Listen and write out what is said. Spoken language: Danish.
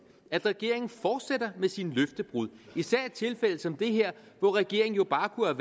at regeringen fortsætter med sine løftebrud især i tilfælde som det her hvor regeringen jo bare kunne